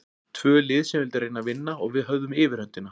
Tvö lið sem vildu reyna að vinna og við höfðum yfirhöndina.